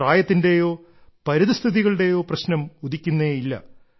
ഇതിൽ പ്രായത്തിന്റേയോ പരിതസ്ഥിതികളുടെയോ പ്രശ്നം ഉദിക്കുന്നേയില്ല